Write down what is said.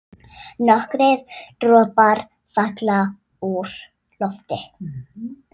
Nokkrir dropar falla úr lofti.